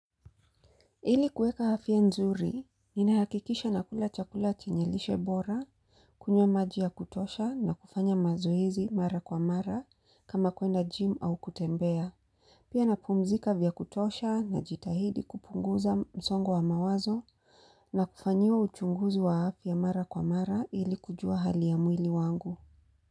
Ili kueka afya nzuri, inahakikisha nakula chakula chenye lishe bora, kunywa maji ya kutosha na kufanya mazoezi mara kwa mara kama kuenda jimu au kutembea. Pia na pumzika vya kutosha najitahidi kupunguza msongo wa mawazo na kufanyiwa uchunguzi wa afya mara kwa mara ili kujua hali ya mwili wangu.